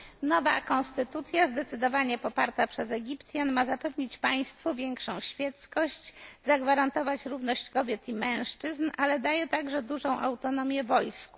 Nowa konstytucja, zdecydowanie poparta przez Egipcjan, ma zapewnić państwu większą świeckość, zagwarantować równość kobiet i mężczyzn, ale daje także dużą autonomię wojsku.